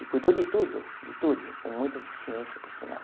E cuidou de tudo, de tudo, com muita eficiência, por sinal.